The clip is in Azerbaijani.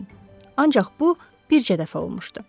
Ancaq bu, bircə dəfə olmuşdu.